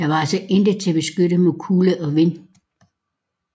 Der var altså intet til at beskytte mod kulde og vind